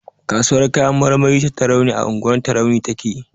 Kasuwar kayan marmari ta Tarauni a unguwar Tarauni take.